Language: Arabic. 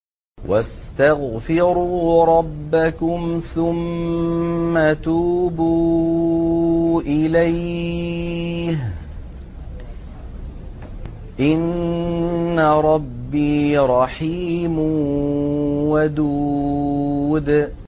وَاسْتَغْفِرُوا رَبَّكُمْ ثُمَّ تُوبُوا إِلَيْهِ ۚ إِنَّ رَبِّي رَحِيمٌ وَدُودٌ